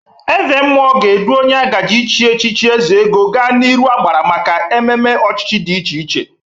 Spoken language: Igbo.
Ezemmụọ ga-edu onye agaje ichi echichi ezeogo ga n'iru agbara maka ememe ochichi dị iche iche.